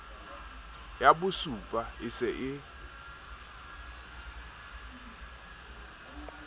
ya bosupa e se e